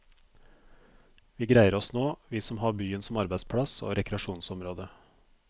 Vi greier oss nå, vi som har byen som arbeidsplass og rekreasjonsområde.